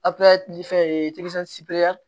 fɛn ye